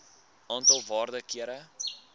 aantal waarde kere